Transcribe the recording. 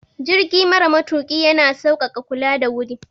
Jirgi mara matuƙi ya na sauƙaƙa kula da wuri.